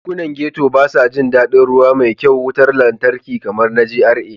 Yankunan Ghetto ba sa jin daɗin ruwa mai kyau, wutar lantarki kamar na GRA.